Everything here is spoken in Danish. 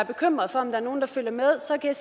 bekymret for om der er nogen der følger med så kan